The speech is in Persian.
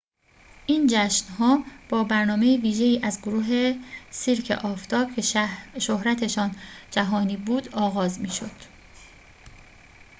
این جشن‌ها با برنامه ویژه‌ای از گروه سیرک آفتاب که شهرتشان جهانی بود آغاز می‌شد